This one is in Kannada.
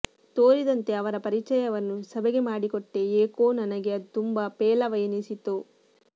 ತೋರಿದಂತೆ ಅವರ ಪರಿಚಯವನ್ನು ಸಭೆಗೆ ಮಾಡಿಕೊಟ್ಟೆ ಏಕೋ ನನಗೆ ಅದು ತುಂಬ ಪೇಲವ ಎನಿಸಿತು